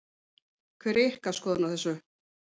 Hver er ykkar skoðun á þessu?